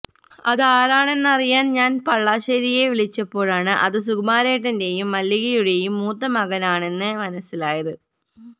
അതാരാണെന്നറിയാന് ഞാന് പള്ളാശ്ശേരിയെ വിളിച്ചപ്പോഴാണ് അത് സുകുമാരേട്ടന്റെയും മല്ലികയുടെയും മുത്ത മകനാണെന്ന് മനസ്സിലായത്